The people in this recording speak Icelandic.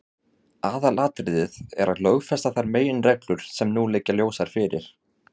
Aðalatriðið er að lögfesta þær meginreglur sem nú liggja ljósar fyrir.